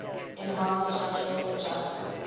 enhanced structural adjustment